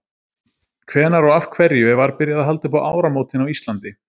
Hvenær og af hverju var byrjað að halda upp á áramótin á Íslandi?